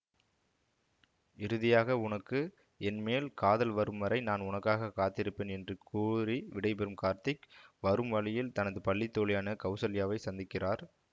இறுதியாக உனக்கு என்மேல் காதல் வரும்வரை நான் உனக்காக காத்திருப்பேன் என்று கூறி விடைபெறும் கார்த்திக் வரும் வழியில் தனது பள்ளி தோழியான கௌசல்யாவைச் சந்திக்கிறார்